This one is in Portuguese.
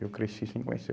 Eu cresci sem conhecer.